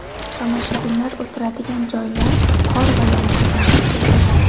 Tomoshabinlar o‘tiradigan joylar qor va yomg‘irdan to‘silgan.